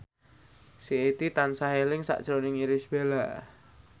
Siti tansah eling sakjroning Irish Bella